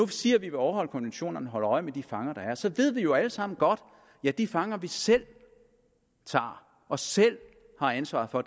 siger at vi vil overholde konventionerne og holde øje med de fanger der er så ved vi jo alle sammen godt at de fanger vi selv tager og selv har ansvaret for